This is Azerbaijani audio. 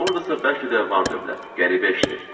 Oradasa bəlkə də vardı on qat.